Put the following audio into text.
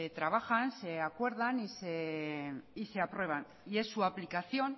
trabajan se acuerdan y se aprueban y es su aplicación